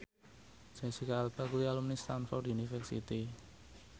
Jesicca Alba kuwi alumni Stamford University